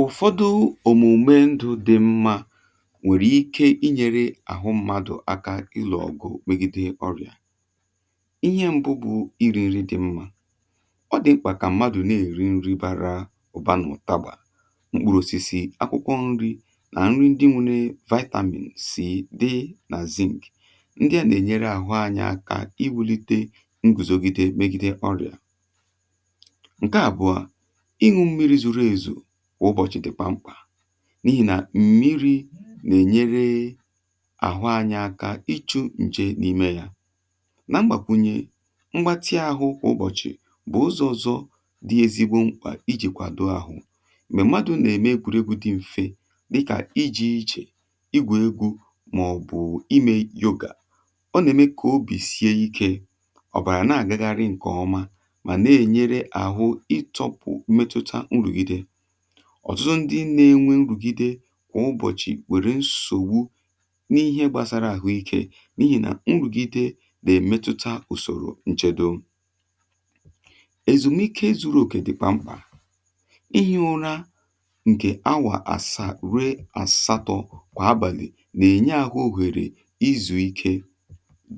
Ụfọdụ omụma ndụ dị mma nwere ike inye aka ịlụ ọgụ megide ọrịa. Ihe mbụ bụ iri nri dị mma. Ọ dị mkpa ka mmadụ na-eri nri bara ụba, gụnyere mkpụrụ osisi, akwụkwọ nri, na nri ndị nwere vitamin na zinc. Ndị a na-enyere ahụ anya iwulite nguzogide megide ọrịa. Nke abụọ bụ ịhụ na mmadụ na-aṅụ mmiri zuru ezu kwa ụbọchị, n’ihi na mmiri na-enyere ahụ anya ịchụ nje n’ime ya. Mgbakwunye mgbatị ahụ kwa ụbọchị bụ ụzọ ọzọ dị ezigbo mkpa iji kwado ahụ. Mgbe mmadụ na-eme mmega dị mfe dịka ịga ije, igwè gwè, maọbụ ime yoga, ọ na-eme ka obi sie ike. Ọtụtụ ndị na-enwe nrùgide kwa ụbọchị nwere nsọtụ n’ihe gbasara ahụ ike, n’ihi na nrùgide na-emetụta usoro nchedo ahụ. Ezumike zuru oke dị mkpa. Ihi ụra nke awa asaa ruo asatọ kwa abalị na-enye ahụ ohere izu ike,